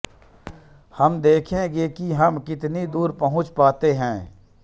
हम देखेंगे कि हम कितनी दूर पहुँच पाते हैं